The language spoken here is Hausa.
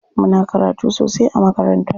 Muna karatu sosai a makaranta.